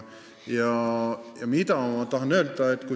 Mida ma tahan öelda?